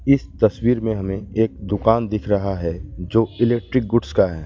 इस तस्वीर में हमें एक दुकान दिख रहा है जो इलेक्ट्रिक गुड्स का है।